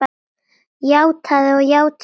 Játað og játað og játað.